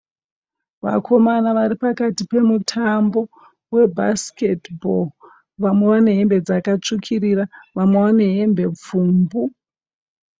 Vakomana varipakati pemutambo webhasikiti bho, vamwe vane hembe dzakatsvukirira vamwe vane hembe pfumbu.